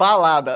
Balada.